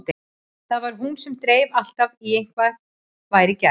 Það var hún sem dreif alltaf í að eitthvað væri gert.